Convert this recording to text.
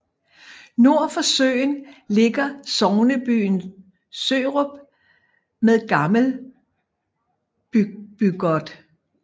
Nord for søen ligger sognebyen Sørup med Gammelbygaard